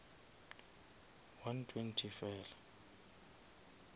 one twenty fela